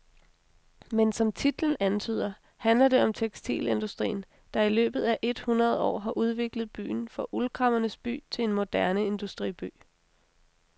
Men som titlen antyder, handler det om tekstilindustrien, der i løbet af et hundrede år har udviklet byen fra uldkræmmernes by til en moderne industriby.